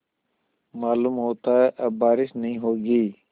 मालूम होता है अब बारिश नहीं होगी